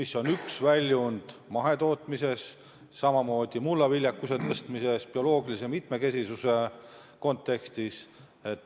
See on üks väljund mahetootmises, samamoodi mulla viljakuse tõstmisel bioloogilise mitmekesisuse kontekstis.